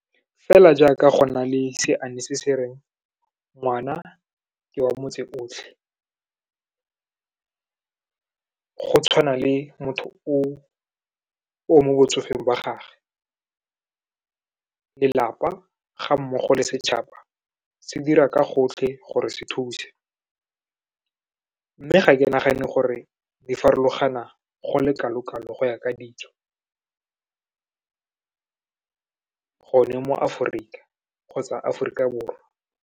Fela jaaka go na le seane se se reng, ngwana ke wa motse otlhe, go tshwana le motho o mo botsofeng ba gage, lelapa ga mmogo le setšhaba, se dira ka gotlhe gore se thuse. Mme ga ke nagane gore di farologana go le kalo-kalo go ya ka ditso, gone mo Aforika kgotsa Aforika Borwa.